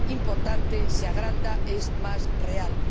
importante, se agranda, es más real.